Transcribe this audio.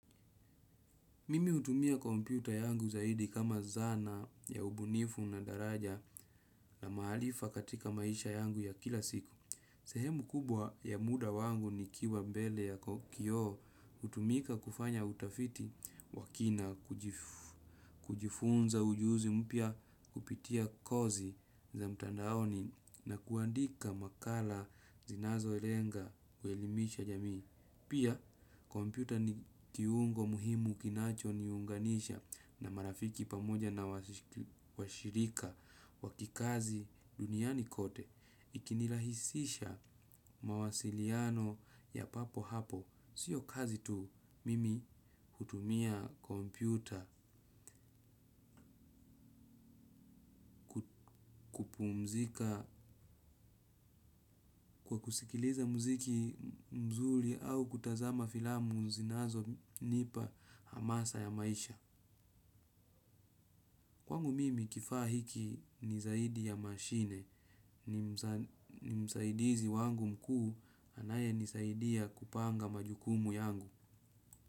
Mimi hutumia komyputa yangu zaidi kama zana ya ubunifu na daraja na maarifa katika maisha yangu ya kila siku. Sehemu kubwa ya muda wangu nikiwa mbele ya kioo hutumika kufanya utafiti wakina kujifunza ujuzi mpya kupitia kozi za mtandaoni na kuandika makala zinazolenga kuelimisha jamii. Pia, kompyuta ni kiungo muhimu kinachoniunganisha na marafiki pamoja na washirika wakikazi duniani kote. Ikinirahisisha mawasiliano ya papo hapo. Sio kazi tu, mimi hutumia kompyuta kwa kusikiliza mziki mzuri au kutazama filamu zinazo nipa hamasa ya maisha. Wangu mimi kifaa hiki ni zaidi ya mashine ni msaidizi wangu mkuu anayenisaidia kupanga majukumu yangu.